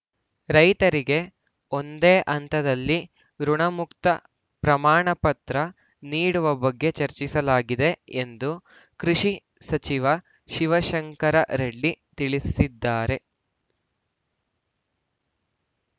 ರೈತರಿಗೆ ಒಂದೇ ಹಂತದಲ್ಲಿ ಋುಣಮುಕ್ತ ಪ್ರಮಾಣ ಪತ್ರ ನೀಡುವ ಬಗ್ಗೆ ಚರ್ಚಿಸಲಾಗಿದೆ ಎಂದು ಕೃಷಿ ಸಚಿವ ಶಿವಶಂಕರ ರೆಡ್ಡಿ ತಿಳಿಸಿದ್ದಾರೆ